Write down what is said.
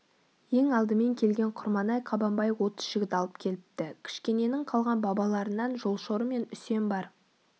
ең алдымен келген құрманай қабанбай отыз жігіт алып келіпті кішкененің қалған балаларынан жолшоры мен үсен бар